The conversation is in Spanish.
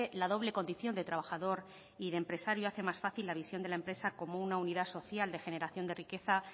la doble condición de trabajador y de empresario hace más fácil la visión de la empresa como una unidad social de generación de riqueza